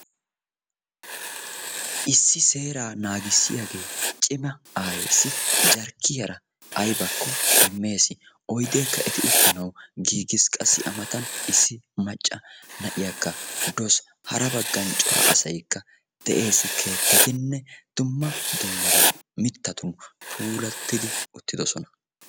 Issi seeraa naagissiyagee cima aayeessi jarkkiyara aybakko immes. Oydeekka eti uttanawu giigis qassi a matan issi macca na'iyakka dawus. Hara baggan cora asaykka des. Keettatinne dumma dummaban mittatun puulattidi uttidosona.